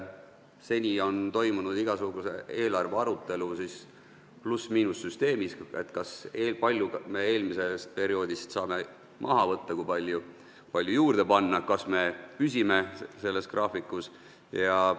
Seni on igasugune eelarve arutelu toimunud pluss-miinus-süsteemis, et kui palju me eelmisest perioodist saame maha võtta, kui palju juurde panna ja kas me püsime selles graafikus.